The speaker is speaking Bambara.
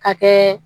Ka kɛ